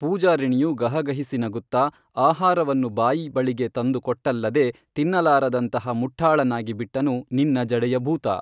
ಪೂಜಾರಿಣಿಯು ಗಹಗಹಿಸಿ ನಗುತ್ತಾ ಆಹಾರವನ್ನು ಬಾಯಿ ಬಳಿಗೆ ತಂದು ಕೊಟ್ಟಲ್ಲದೆ ತಿನ್ನಲಾರದಂತಹ ಮುಠ್ಠಾಳನಾಗಿ ಬಿಟ್ಟನು ನಿನ್ನ ಜಡೆಯ ಭೂತ